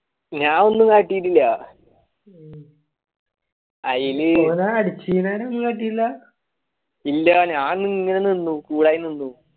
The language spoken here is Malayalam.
ഞാൻ ഒന്നും അകീട്ടില്ല അയില് ഇല്ല ഇങ്ങനെ നിന്നുക്കുയർന്നു